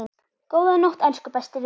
Góða nótt, elsku besti vinur.